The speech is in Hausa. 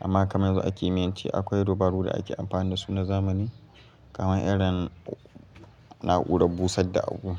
Amma kamar yanzu a kimiyance akwai dabaru da ake amfani dasu na zamani kamar irin na'urar busar da abu.